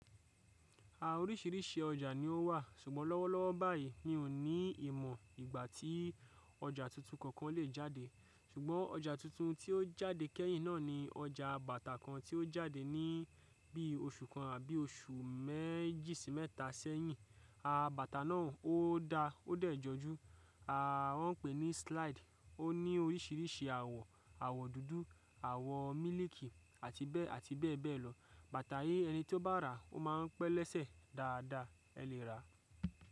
À oríṣìíríṣìí ọjà ni ó wà, ṣùgbọ́n lọ́wọ́lọ́wọ́ báyìí mi ò ní ìmọ̀ ìgbà tí ọjà tuntun kankan lè jáde. Ṣùgbọ́n ọjà tuntun tí ó jáde kẹ́yìn náà ni ọjà bàtà kan tí ó jáde ni bí oṣù kan àbí oṣù mé-jì si meta sẹ́yìn. À bàtà náà ó dáa ó dẹ̀ jọjú. À wọn pè ní slide. Ó ní oríṣìíríṣìí àwọ̀, àwọ̀ dúdú, àwọ̀ mílìkì àti bẹ́ẹ̀ ati bẹ́ẹ̀ bee lọ. Bàtà yíi ẹni tí ó bá rà, ó máa pẹ́ lẹ́sẹ̀ dáadáa ẹ lè rà.